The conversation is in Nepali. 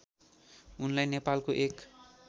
उनलाई नेपालको एक